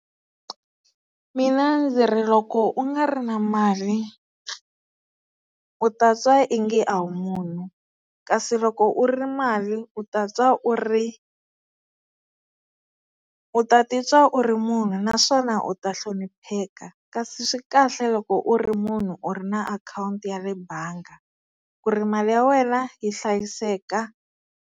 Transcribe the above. Mina ndzi ri loko u nga ri na mali u ta twa ingi a wu munhu kasi loko u ri mali u ta twa u ri u ta titwa u ri munhu naswona u ta hlonipheka kasi swi kahle loko u ri munhu u ri na akhawunti ya le bangi ku ri mali ya wena yi hlayiseka.